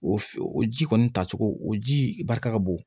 O o ji kɔni tacogo o ji barika ka bon